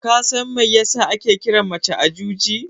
Kasan mai yasa ake kiran mace Ajuji?